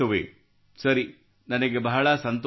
ಸರಿ ನನಗೆ ಬಹಳ ಸಂತೋಷವಾಗಿದೆ